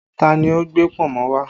Ta ni ó gbé pọ̀nmọ́ wá?